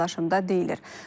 Paylaşımda deyilir: